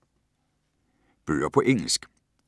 Bøger på engelsk